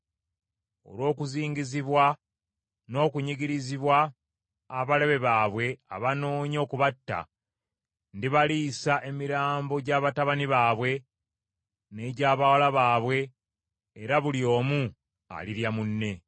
Olw’okuzingizibwa n’okunyigirizibwa abalabe baabwe abanoonya okubatta, ndibaliisa emirambo gya batabani baabwe n’egy’abawala baabwe era buli omu alirya munne.’